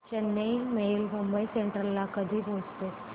Chennai mail Mumbai central ला कधी पोहचेल